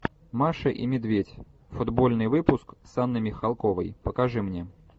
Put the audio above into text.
маша и медведь футбольный выпуск с анной михалковой покажи мне